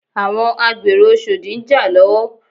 Àwọn agbèrò oshodi ń jà lọ́wọ́